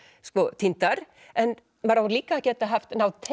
týndar en maður á líka að geta náð